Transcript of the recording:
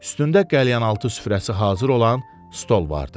Üstündə qəlyanaltı süfrəsi hazır olan stol vardı.